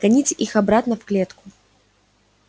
гоните их обратно в клетку